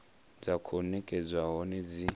dza khou nekedzwa hone dzi